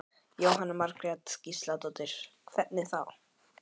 Jóhanna Margrét Gísladóttir: Hvernig þá?